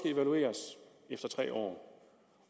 evalueres efter tre år